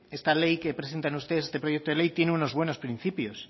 esta ley que presentan ustedes este proyecto de ley tiene unos buenos principios